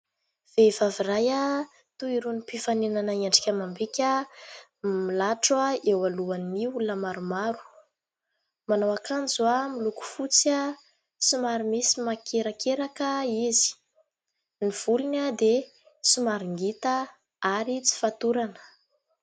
Vehivavy iray toy irony mpifaninana endrika amam-bika, milatro eo alohan'ny olona maromaro. Manao akanjo miloko fotsy somary misy makerakeraka izy. Ny volony dia somary ngita ary tsy fatorana.